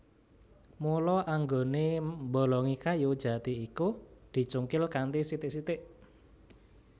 Mula anggonè mbolongi kayu jati iku dicungkil kanthi sithik sithik